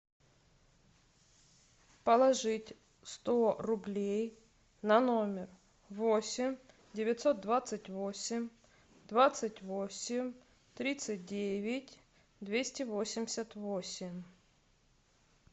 положить сто рублей на номер восемь девятьсот двадцать восемь двадцать восемь тридцать девять двести восемьдесят восемь